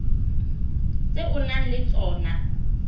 tse o nang le tsona